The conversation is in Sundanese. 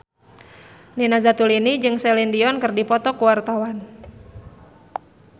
Nina Zatulini jeung Celine Dion keur dipoto ku wartawan